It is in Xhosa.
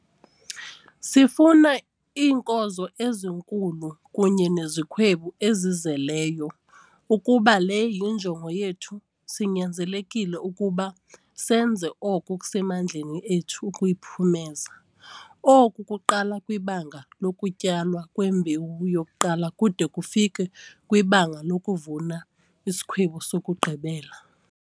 Sifuna iinkozo ezinkulu kunye nezikhwebu ezizeleyo. Ukuba le yinjongo yethu sinyanzelekile ke ukuba senze oko okusemandleni ethu ukuyiphumeza. Oku kuqala kwibanga lokutyalwa kwembewu yokuqala kude kufikwe kwibanga lokuvuna isikhwebu sokugqibela.